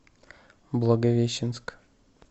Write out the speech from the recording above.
благовещенск